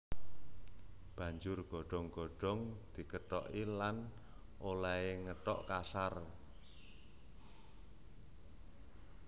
Banjur godhong godhong dikethoki lan olèhé ngethok kasar